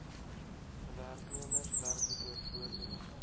werknemers werklike voordeel